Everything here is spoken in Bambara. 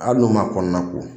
Hali n'u ma kɔnɔna ko